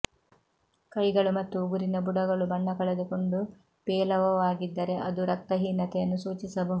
ಕೈಗಳು ಮತ್ತು ಉಗುರಿನ ಬುಡಗಳು ಬಣ್ಣ ಕಳೆದುಕೊಂಡು ಪೇಲವವಾಗಿದ್ದರೆ ಅದು ರಕ್ತಹೀನತೆಯನ್ನು ಸೂಚಿಸಬಹುದು